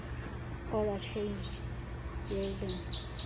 order changeth yielding